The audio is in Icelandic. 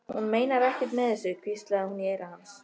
Hún meinar ekkert með þessu, hvíslaði hún í eyra hans.